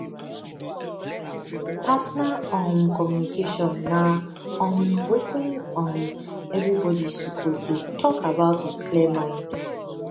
partner um communication na um wetin um everybody suppose dey talk about with clear mind